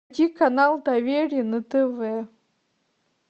включи канал доверие на тв